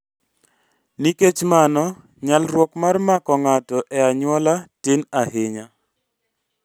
NIkech mano nyalruok mar mako ng'ato e anyuola tin ahinya